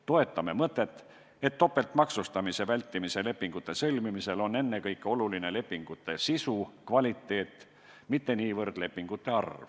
Toetame mõtet, et topeltmaksustamise vältimise lepingute sõlmimisel on ennekõike oluline lepingute sisu, kvaliteet, mitte niivõrd lepingute arv.